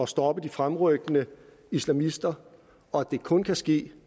stoppe de fremrykkende islamister og at det kun kan ske